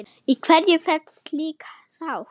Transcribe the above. Í hverju felst slík sátt?